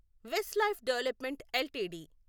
Westlife development LTD